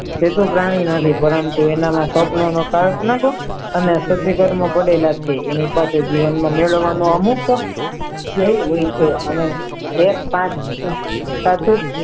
એ તો પ્રાણી નથી પરંતુ એના માં સ્વપ્ન ન એની પાસે જીવન નો મેળવાનો અમુક ધ્યેય હોય છે અને